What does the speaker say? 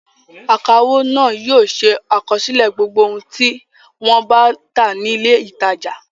Akawó náà yóò ṣe àkọsílẹ̀ gbogbo ohun tí wọ́n bá tà ní ilé-ìtajà.